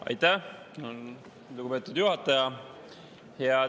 Aitäh, lugupeetud juhataja!